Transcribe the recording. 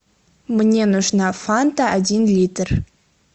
мне нужна фанта один литр